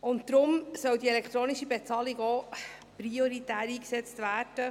Deshalb soll die elektronische Bezahlung auch prioritär eingesetzt werden.